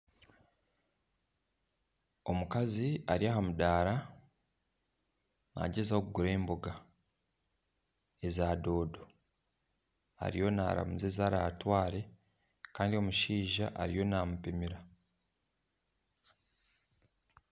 Omukazi ari aha mudaara naagyezaho kugura emboga eza dodo ariyo naamuza ezi ratware kandi omushaija ariyo naamupimira.